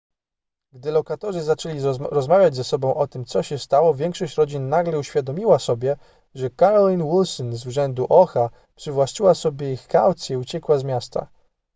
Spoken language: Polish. gdy lokatorzy zaczęli rozmawiać ze sobą o tym co się stało większość rodzin nagle uświadomiła sobie że carolyn wilson z urzędu oha przywłaszczyła sobie ich kaucje i uciekła z miasta